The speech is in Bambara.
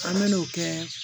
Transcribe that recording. An me n'o kɛ